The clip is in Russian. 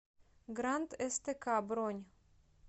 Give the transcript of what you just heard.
грант стк бронь